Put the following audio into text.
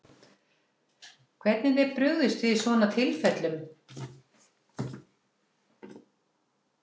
Guðrún, hvernig er brugðist við svona tilfellum?